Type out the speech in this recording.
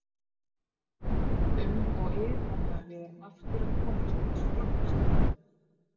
Uml og ið á meðan við erum aftur að komast í þessa flóknu stellingu.